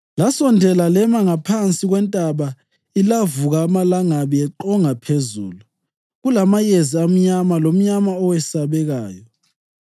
Lasondela lema ngaphansi kwentaba ilavuka amalangabi eqonga phezulu, kulamayezi amnyama lomnyama owesabekayo.